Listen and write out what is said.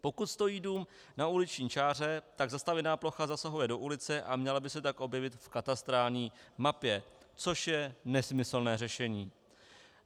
Pokud stojí dům na uliční čáře, tak zastavěná plocha zasahuje do ulice a měla by se tak objevit v katastrální mapě, což je nesmyslné řešení.